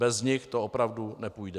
Bez nich to opravdu nepůjde.